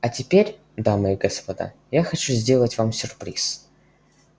а теперь дамы и господа я хочу сделать вам сюрприз